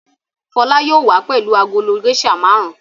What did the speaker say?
Fọlá yóò wá pẹ̀lú agolo géíṣà márùn-ún.